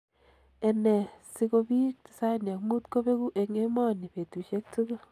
Ene siko bik 95 kobeku eng emoni betushek tugul.